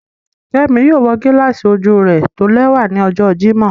Kẹmí yóò wọ gíláàsì ojú rẹ̀ tólẹwa ní ọ̀jọ́ Jímọ̀